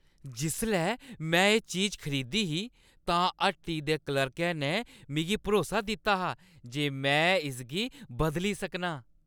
जिसलै में एह् चीज खरीदी ही तां हट्टी दे क्लर्कै ने मिगी भरोसा दित्ता हा जे में इसगी बदली सकनां।